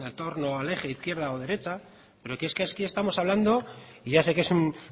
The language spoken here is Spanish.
torno al eje izquierda o derecha pero es que aquí estamos hablando y ya sé que es un